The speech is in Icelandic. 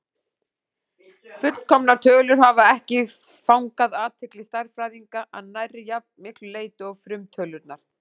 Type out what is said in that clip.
Fullkomnar tölur hafa ekki fangað athygli stærðfræðinga að nærri jafn miklu leyti og frumtölurnar.